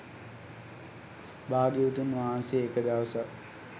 භාග්‍යවතුන් වහන්සේ එක දවසක්